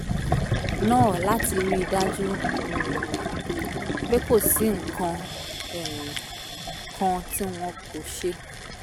náà láti rí i dájú um pé kò sí nǹkan um kan tí wọn kò ṣe